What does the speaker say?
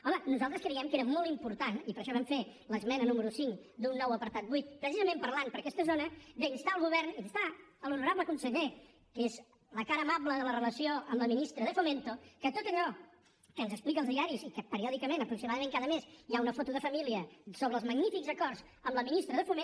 home nosaltres creiem que era molt important i per això vam fer l’esmena número cinc d’un nou apartat vuit precisament parlant per aquesta zona d’instar el govern instar l’honorable conseller que és la cara amable de la relació amb la ministra de fomento que tot allò que ens explica als diaris i que periòdicament aproximadament cada mes hi ha una foto de família sobre els magnífics acords amb la ministra de foment